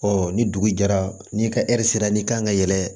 ni dugu jɛra n'i ka sera n'i kan ka yɛlɛ